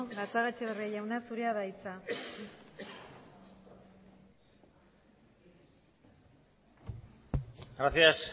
gatzagaetxebarria zurea da hitza gracias